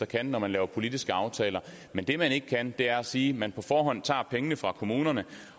kan når man laver politiske aftaler men det man ikke kan er at sige at man på forhånd tager pengene fra kommunerne